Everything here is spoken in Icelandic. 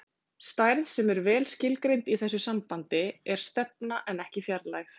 stærð sem er vel skilgreind í þessu sambandi er stefna en ekki fjarlægð